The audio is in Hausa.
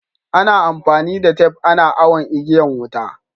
Ana amfani da tep ana awon igiyan wuta.